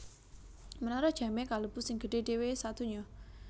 Menara Jamé kalebu sing gedhé dhéwé sadonya